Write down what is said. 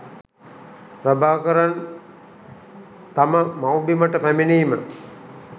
ප්‍රභාකරන් තම මව්බිමට පැමිණීම